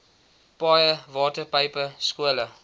paaie waterpype skole